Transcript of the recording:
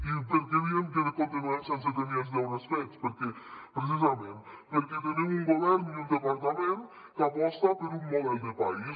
i per què diem que continuem sense tenir els deures fets precisament perquè tenim un govern i un departament que aposten per un model de país